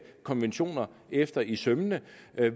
konventioner efter i sømmene